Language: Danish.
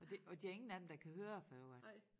Og det og der ingen af dem der kan høre for i øvrigt